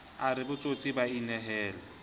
a re botsietsi ba inehele